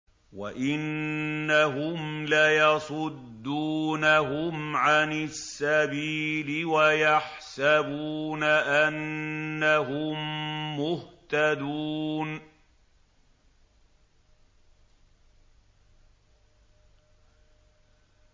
وَإِنَّهُمْ لَيَصُدُّونَهُمْ عَنِ السَّبِيلِ وَيَحْسَبُونَ أَنَّهُم مُّهْتَدُونَ